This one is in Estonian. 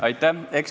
Aitäh!